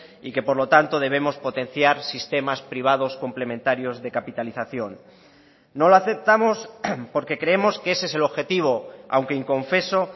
y que por lo tanto debemos potenciar sistemas privados complementarios de capitalización no lo aceptamos porque creemos que ese es el objetivo aunque inconfeso